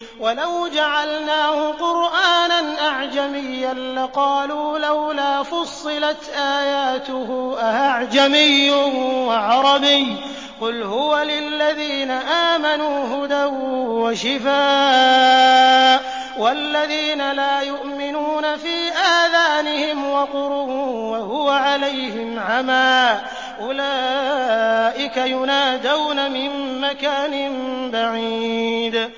وَلَوْ جَعَلْنَاهُ قُرْآنًا أَعْجَمِيًّا لَّقَالُوا لَوْلَا فُصِّلَتْ آيَاتُهُ ۖ أَأَعْجَمِيٌّ وَعَرَبِيٌّ ۗ قُلْ هُوَ لِلَّذِينَ آمَنُوا هُدًى وَشِفَاءٌ ۖ وَالَّذِينَ لَا يُؤْمِنُونَ فِي آذَانِهِمْ وَقْرٌ وَهُوَ عَلَيْهِمْ عَمًى ۚ أُولَٰئِكَ يُنَادَوْنَ مِن مَّكَانٍ بَعِيدٍ